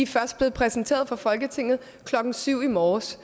først blevet præsenteret for folketinget klokken syv i morges